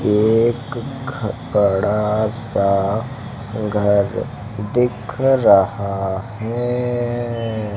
एक ख बड़ा सा घर दिख रहा है।